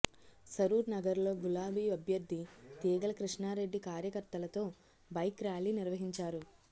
సరూర్ నగర్ లో గులాబీ అభ్యర్థి తీగల కృష్ణారెడ్డి కార్యకర్తలతో బైక్ ర్యాలీ నిర్వహించారు